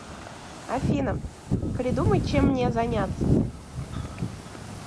афина придумай чем мне заняться